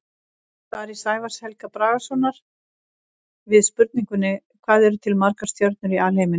Í svari Sævars Helga Bragasonar við spurningunni Hvað eru til margar stjörnur í alheiminum?